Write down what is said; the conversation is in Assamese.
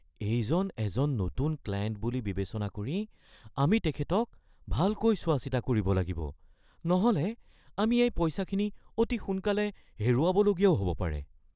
এইজন এজন নতুন ক্লায়েণ্ট বুলি বিবেচনা কৰি আমি তেখেতক ভালকৈ চোৱা-চিতা কৰিব লাগিব নহ'লে আমি এই পইচাখিনি অতি সোনকালে হেৰুৱাবলগীয়া হ’বও পাৰে।